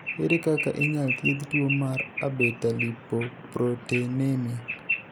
ere kaka inyal thiedh tuo mar abetalipoproteinemia.